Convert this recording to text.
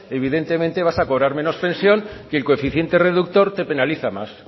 evidentemente vas a cobrar menos pensión que el coeficiente reductor te penaliza más